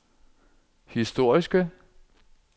historiske